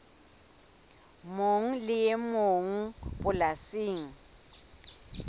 mong le e mong polasing